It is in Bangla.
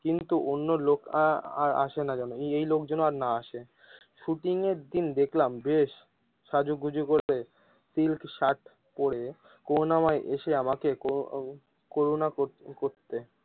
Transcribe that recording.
কিন্তু অন্য লোক আ আর আসেনা যেন, এই লোকজন আর না আসে শুটিং এর দিন দেখলাম বেশ সাজুগুজু করে সিল্ক শার্ট পরে করুনা ময় এসে আমাকে করুনা করতে।